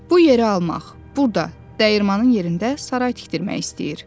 Bu yeri almaq, burada dəyirmanin yerində saray tikdirmək istəyir.”